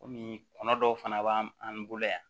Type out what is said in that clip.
Komi kɔnɔ dɔw fana b'an an bolo yan